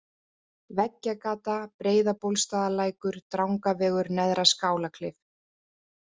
Veggjagata, Breiðabólsstaðarlækur, Drangavegur, Neðra-Skálaklif